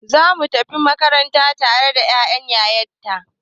Za mu tafi makaranta tare da ya'yan ya ta.